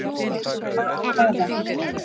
Hvaða hvaða.